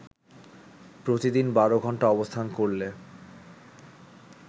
প্রতিদিন বারো ঘন্টা অবস্থান করলে